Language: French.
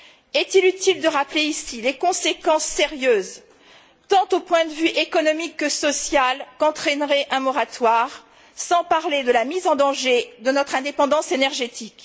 Est il utile de rappeler ici les conséquences sérieuses, tant au point de vue économique que social, qu'entraînerait un moratoire, sans parler de la mise en danger de notre indépendance énergétique?